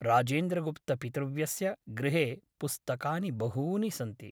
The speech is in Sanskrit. राजेन्द्रगुप्तपितृव्यस्य गृहे पुस्तकानि बहूनि सन्ति ।